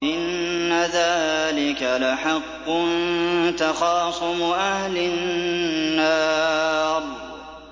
إِنَّ ذَٰلِكَ لَحَقٌّ تَخَاصُمُ أَهْلِ النَّارِ